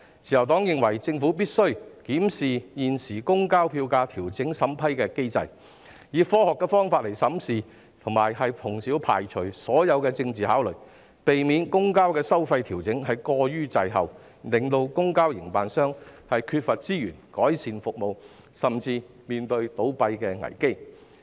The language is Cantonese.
自由黨認為，政府必須檢視現行公共交通票價調整審批機制，以科學方法審視，以及排除所有政治考慮，避免公共交通收費調整過於滯後，令公共交通營辦商缺乏資源改善服務，甚至面對倒閉危機。